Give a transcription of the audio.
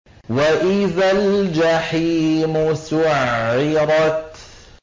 وَإِذَا الْجَحِيمُ سُعِّرَتْ